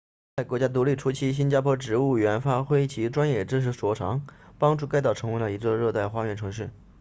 在国家独立初期新加坡植物园发挥其专业知识所长帮助该岛成为了一座热带花园城市